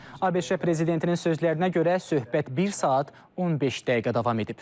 ABŞ prezidentinin sözlərinə görə söhbət bir saat 15 dəqiqə davam edib.